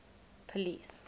police